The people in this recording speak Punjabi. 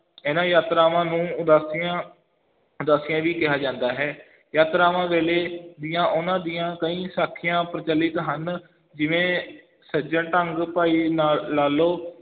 ਇਹਨਾਂ ਯਾਤਰਾਵਾਂ ਨੂੰ ਉਦਾਸੀਆਂ ਉਦਾਸੀਆ ਵੀ ਕਿਹਾ ਜਾਂਦਾ ਹੈ, ਯਾਤਰਾਵਾਂ ਵੇਲੇ ਦੀਆਂ ਉਹਨਾਂ ਦੀਆਂ ਕਈ ਸਾਖੀਆਂ ਪ੍ਰਚਲਿਤ ਹਨ, ਜਿਵੇਂ ਸੱਜਣ ਢੰਗ, ਭਾਈ ਨਾ~ ਲਾਲੋ,